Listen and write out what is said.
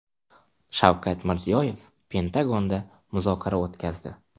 Shavkat Mirziyoyev Pentagonda muzokara o‘tkazdi.